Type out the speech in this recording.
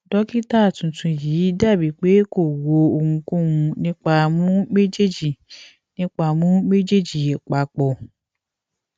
dokita tuntun yii dabi pe ko ro ohunkohun nipa mu mejeeji nipa mu mejeeji papọ